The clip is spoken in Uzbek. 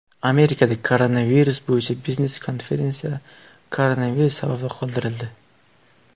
Amerikada koronavirus bo‘yicha biznes-konferensiya koronavirus sababli qoldirildi .